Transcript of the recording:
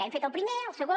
hem fet el primer el segon